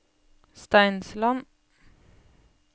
Steinsland